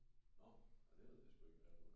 Nå ah det ved jeg sku ik hvad er